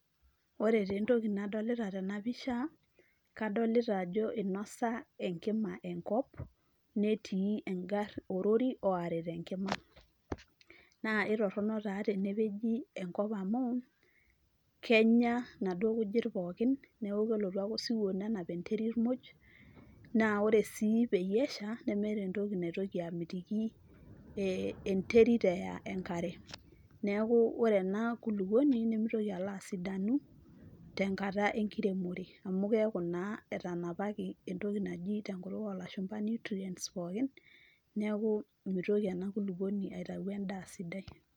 Ore tentoki nadolita tenapisha, kadolita ajo inosa enkima enkop, netii orori orita enkima. Na itorrono taa tenepeji enkop amu, kenya naduo kujit pookin, neku kelotu ake osiwuo nenap enterit moj, naa ore si peyie esha, nemeeta entoki naitoki amitiki enterit eaya enkare. Neeku ore ena kulukuoni, nimitoki alo asidanu, tenkata enkiremore. Amu keeku naa etanapaki entoki naji tenkutuk olashumpa nutrients pookin, neeku nimitoki ena kulukuoni aitayu endaa sidai.